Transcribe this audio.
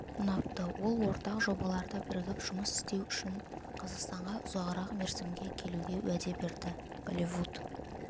ұнапты ол ортақ жобаларда бірігіп жұмыс істеу үшін қазақстанға ұзағырақ мерзімге келуге уәде берді голливуд